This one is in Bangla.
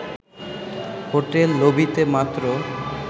হোটেল লবিতে মাত্র